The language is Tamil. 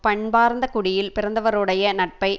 பண்பார்ந்த குடியில் பிறந்தவருடைய நட்பை